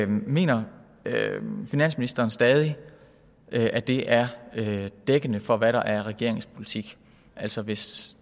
mener finansministeren stadig at det er dækkende for hvad der er regerings politik altså hvis